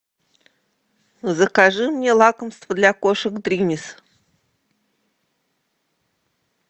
закажи мне лакомство для кошек дримис